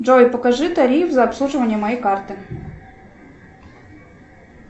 джой покажи тариф за обслуживание моей карты